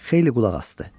Xeyli qulaq asdı.